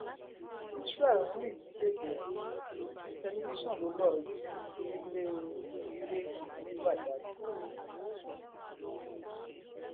isreal ń rìn ní bèbè ẹwọn tẹlifíṣàn ló lọọ jí nílẹ onílẹ ní badág